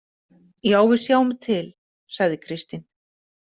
Já, við sjáum til, sagði Kristín.